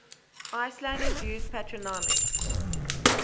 icelanders use patronymics